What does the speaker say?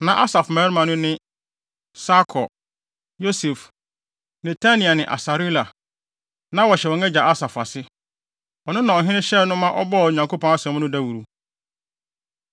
Na Asaf mmabarima no ne: Sakur, Yosef, Netania ne Asarela. Na wɔhyɛ wɔn agya Asaf ase. Ɔno na ɔhene hyɛɛ no ma ɔbɔɔ Onyankopɔn asɛm no dawuru.